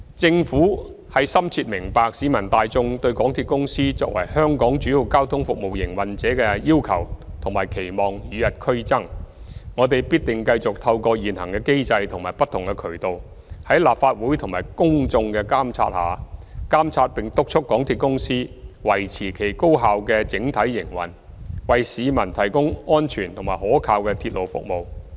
政府深明市民大眾對港鐵公司作為香港主要交通服務營運者的要求及期望與日俱增，我們必定繼續透過現行的機制及不同渠道，在立法會及公眾的監察下，監察並督促港鐵公司維持其高效的整體營運，為市民提供安全及可靠的鐵路服務。